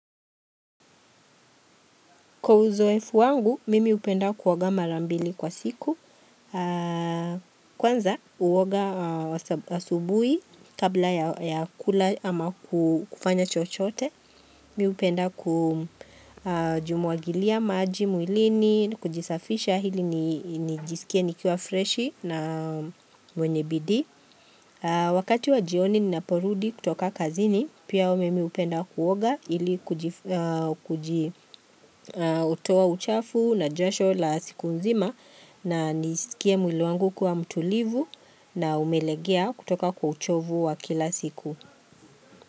Kwa uzoefu wangu, mimi hupenda kuoaga mara mbili kwa siku. Kwanza, huoga asubuhi kabla ya kula ama kufanya chochote. Mimi hupenda ku jimwagilia maji, mwilini, kujisafisha hili nijisikia nikiwa freshi na mwenye bidii. Wakati wa jioni ninaporudi kutoka kazini pia mimi hupenda kuoga ili kujitoa uchafu na jasho la siku nzima na nisikie mwili wangu kuwa mtulivu na umelegea kutoka kwa uchovu wa kila siku.